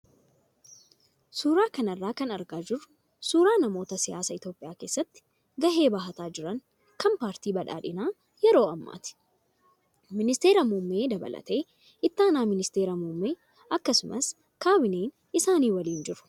Suuraa kanarraa kan argaa jirru suuraa namootaa siyaasa Itoophiyaa keessatti gahee bahataa jran kan paartii badhaadhinaa yeroo ammaati. Ministeera muummee dabalatee itti aanaan ministeera muummee akkasumas kaabineen isaanii waliin jiru.